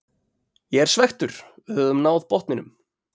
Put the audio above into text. Ég er svekktur, við höfum náð botninum.